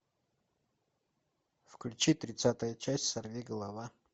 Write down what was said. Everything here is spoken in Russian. включи тридцатая часть сорвиголова